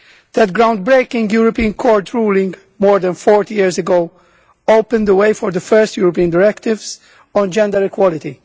That groundbreaking European Court ruling more than 40 years ago opened the way for the first European directives on gender equality.